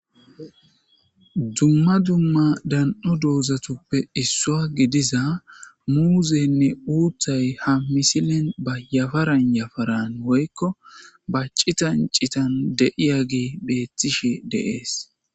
Dumma dumma dan'o doozatuppe issua gidiza muuzeynne uuthay ha misilen ba yafaran yafaran woykko bacitan citan deiya gi beethtishi deees.